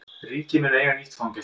Ríkið mun eiga nýtt fangelsi